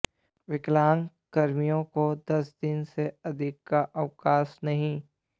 विकलांग कर्मियों को दस दिन से अधिक का अवकाश नहीं